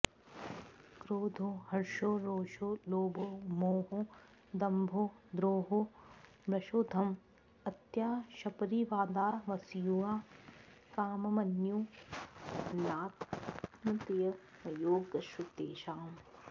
क्रोधो हर्षो रोषो लोभो मोहो दम्भो द्रोहो मृषोद्यम् अत्याशपरीवादावसूया काममन्यू अनात्म्यमयोगस्तेषां